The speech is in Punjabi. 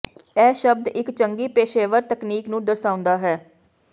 ਇਹ ਸ਼ਬਦ ਇੱਕ ਚੰਗੀ ਪੇਸ਼ੇਵਰ ਤਕਨੀਕ ਨੂੰ ਦਰਸਾਉਂਦਾ ਹੈ